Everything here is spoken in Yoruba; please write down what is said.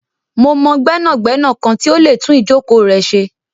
Mo mọ gbẹnagbẹna kan ti o lè tún ijọ̀kọ̀ rẹ ṣé.